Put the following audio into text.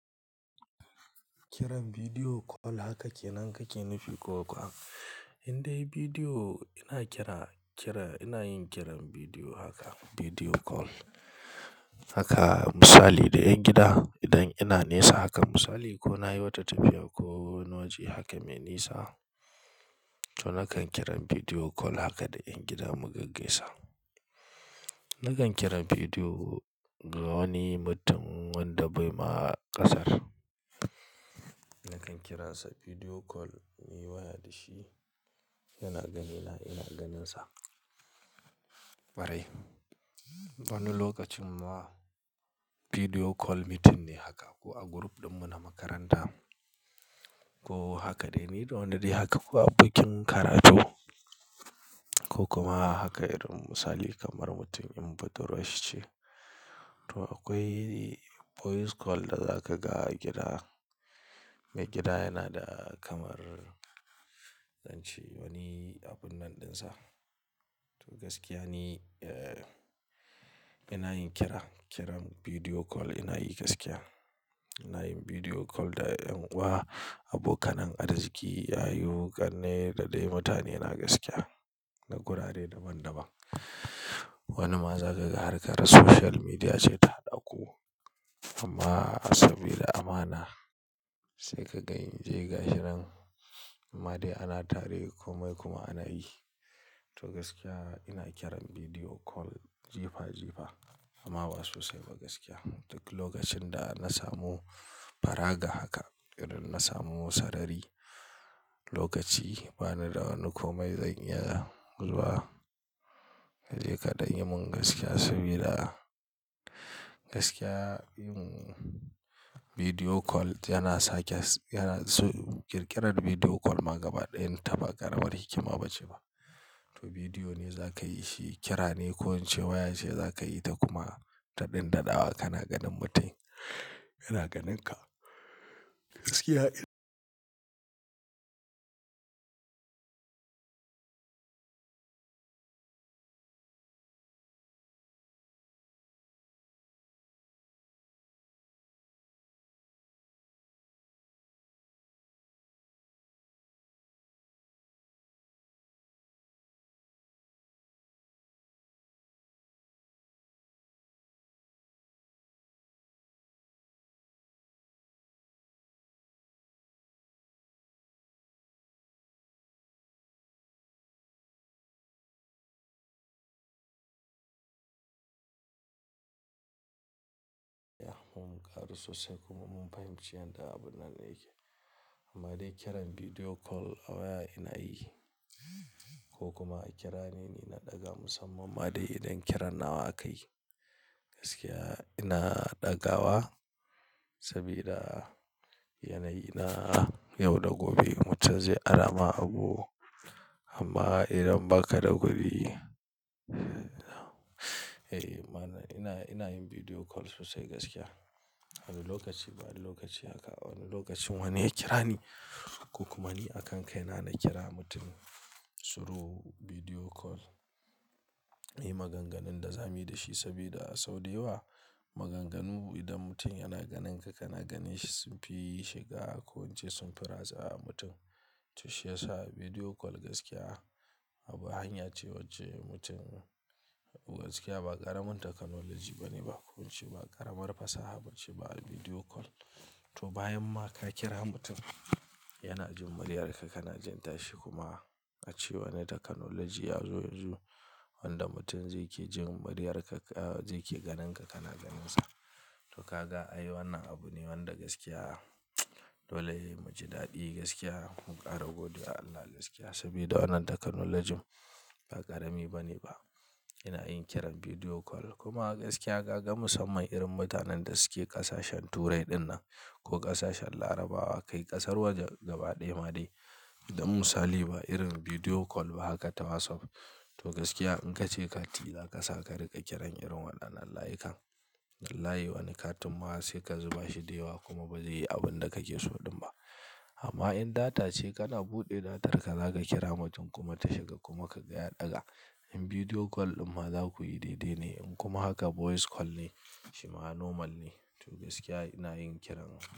Kiran video call haka ke nan kake nufi ko kuwa? Indai bidiyo ina kira-kira, ina yin kiran bidiyo haka video call. Haka misali da 'ƴan gida idan ina nesa haka misali ko na yi wata tafiya ko wani waje haka mai nisa, to nakan kira bidiyo call haka da 'ƴan gida mu gaggaisa. Nakan kira bidiyo ga wani mutum wanda bai ma ƙasar. Nakan kiransa bidiyo call, muyi waya da shi, yana ganina ina ganinsa. Ƙwarai, wani lokacin ma video call meeting ne haka ko a group ɗin mu na makaranta ko haka dai muyi da wani dai haka ko abokin karatu ko kuma haka irin misali kamar mutum in budurwan shi ce. To akwai voice call da za ka ga gida, mai gida yana da kamar zan ce wani abun nan ɗinsa. To gaskiya ne, eh ina yin kira, kiran bidiyo call ina yi gaskiya. Ina yin bidiyo call da 'yan uwa, abokanai, arziki, yayu, ƙanne da dai mutane na gaskiya, na gurare daban daban. Wani ma zaka ga harkar social media ce ta haɗa ku amma saboda amana sai ka ga in je gashin nan. Ma dai ana tare komai kuma ana yi. To gaskiya ina kiran bidiyo call jifa jifa amma ba sosai ba gaskiya. Duk lokacin da na samu faraga haka, idan na samu sarari lokaci bani da wani komai zan iya zuwa, jeka dai mun gaskiya sabida gaskiya yin bidiyo call yana sake, yana su-- ƙirƙirar bidiyo call ma gabaɗayan ta ba ƙaramar hikima bace ba. To bidiyo ne za ka yi shi kira ne ko waya ce za ka yi ta kuma daɗin daɗawa kana ganin mutum yana ganin ka. Gaskiya irin yaya mun ƙara sosai kuma mun fahimci yadda abun nan yake. Ma dai kiran bidiyo call a waya ina yi ko kuma a kira ni ni na ɗaga musamman ma dai idan kiran nawa akayi. Gaskiya ina ɗaga wa sabida yanayi na yau da gobe mutum zai ara ma abu amma idan baka da gobe, eh mana ina, ina yin bidiyo call sosai gaskiya. Wani lokaci bayan lokaci haka, wani lokacin wane ya kira ni ko kuma ni a kan kai na na kira mutum through bidiyo call. Muyi maganganun da za mu yi da shi saboda sau da yawa maganganu idan mutum yana ganin ka kana ganin shi sunfi shiga ko ince sunfi ratsa mutum. To shi yasa bidiyo call gaskiya abu hanya ce wacce mutum gaskiya ba ƙaramin technology bane ba ko ince ba ƙaramar fasaha bace ba a bidiyo call. To bayan ma ka kira mutum yana jin muryar ka kana jin tashi kuma a ce wane technology ya zo yanzu wanda mutum zai ke jin muryar ka, ah zai ke ganin ka kana ganinsa. To ka ga ai wannan abu ne wanda gaskiya dole yayi mu ji daɗi gaskiya mu ƙara godewa Allah gaskiya saboda wannan technology ba ƙarami bane ba. Ina yin kiran bidiyo call kuma gaskiya ka ga musamman irin mutanen da suke ƙasashen Turai dinnan ko ƙasashen Larabawa kai ƙasar waje gabaɗaya ma dai. Idan misali ba irin bidiyo call ba haka ta WhatsApp. To gaskiya in ka ce kati za ka sa ka riƙa kiran irin waɗannan layukan wallahi wani katin ma sai ka zuba shi da yawa kuma ba zai yi abun da kake so ɗin ba. Amma in data ce kana buɗe datarka za ka kira mutum kuma ta shiga kuma ka ga ya ɗaga. In bidiyo call ɗin ma za ku yi daidai ne in kuma haka voice call ne shi ma normal ne. To gaskiya ina yin kiran.